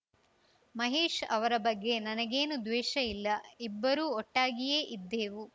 ಮಹೇಶ್‌ ಅವರ ಬಗ್ಗೆ ನನಗೇನು ದ್ವೇಷ ಇಲ್ಲ ಇಬ್ಬರು ಒಟ್ಟಾಗಿಯೇ ಇದ್ದೇವು